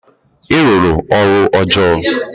Ị rụrụ ọrụ ọjọọ!